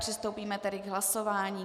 Přistoupíme tedy k hlasování.